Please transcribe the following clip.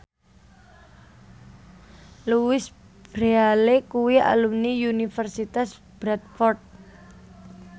Louise Brealey kuwi alumni Universitas Bradford